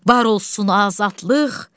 Var olsun azadlıq!